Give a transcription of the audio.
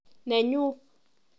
Nenyuu.